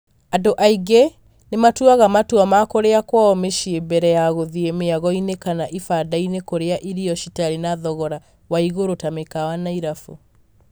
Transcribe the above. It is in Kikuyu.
Andũ angĩ nĩ matuaga matua ma kũria kwao mĩcĩĩ mbere ya guthiĩ mĩagoinĩ kana ibandainĩ kũrĩa irio citarĩ na thogora wa igũrũ ta mĩkawa na irabu.